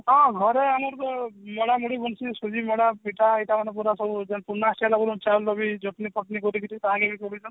ହଁ ଘରେ ଆମର ତ ମେଡା ମୁଢି ସୁଜି ମଣ୍ଡା ପିଠା ଏଟା ଆମର ପୁରା ସବୁ ଚଟନୀ ଫଟନୀ ସବୁ କରିକିରି